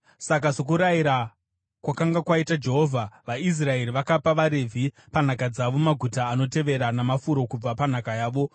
Saka sokurayira kwakanga kwaita Jehovha, vaIsraeri vakapa vaRevhi panhaka dzavo maguta anotevera namafuro kubva panhaka yavo: